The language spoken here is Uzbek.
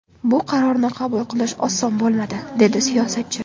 Bu qarorni qabul qilish oson bo‘lmadi”, dedi siyosatchi.